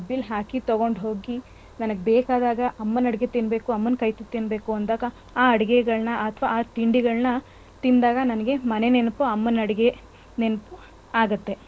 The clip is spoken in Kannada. ಡಬ್ಬೀಲ್ ಹಾಕಿ ತಕೊಂಡ್ ಹೋಗಿ ನನಗ್ ಬೇಕಾದಾಗ ಅಮ್ಮನ್ ಅಡ್ಗೆ ತಿನ್ಬೇಕು ಅಮ್ಮನ್ ಕೈತುತ್ತು ತಿನ್ಬೇಕು ಅಂದಾಗ ಆ ಅಡ್ಗೆಗಳ್ನ ಅಥವಾ ಆ ತಿಂಡಿಗಳ್ನ ತಿಂದಾಗ ನನ್ಗೆ ಮನೆ ನೆನ್ಪು ಅಮ್ಮನ್ ಅಡ್ಗೆ ನೆನ್ಪು ಆಗುತ್ತೆ.